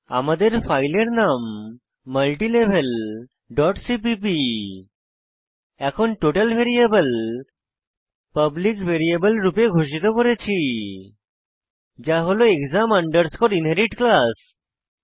আমাদের ফাইলের নাম মাল্টিলেভেল ডট সিপিপি এখন টোটাল ভ্যারিয়েবল পাবলিক ভ্যারিয়েবল রূপে ঘোষিত করেছি যা হল এক্সাম আন্ডারস্কোর ইনহেরিট ক্লাস